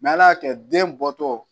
ala y'a kɛ den bɔtɔ